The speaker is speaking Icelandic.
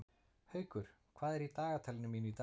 Haukur, hvað er í dagatalinu mínu í dag?